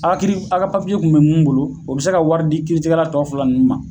A ka kiiri a ka kun bɛ mun bolo, o bi se ka wari di kiiritigɛra tɔ fila nunnu ma